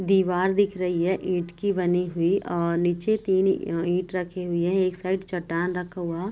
दिवार दिख रही है ईट की बनी हुई अअ निचे तीन अं ईट रखी हुइ है एक साइड चट्टान रखा हुआ।